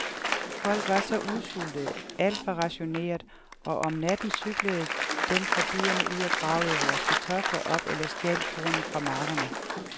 Folk var så udsultede, alt var rationeret og om natten cyklede dem fra byerne ud og gravede vores kartofler op eller stjal kornet fra markerne.